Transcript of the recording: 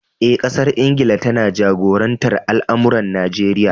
Eh, ƙasar Ingila ta taba jagorantar al’amuran Najeriya.